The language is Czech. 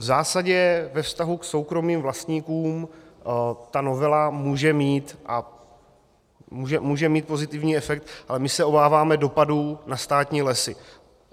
V zásadě ve vztahu k soukromým vlastníkům ta novela může mít pozitivní efekt, ale my se obáváme dopadů na státní lesy.